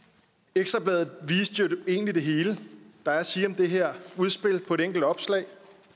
ekstra bladet viste jo egentlig det hele der er at sige om det her udspil på et enkelt opslag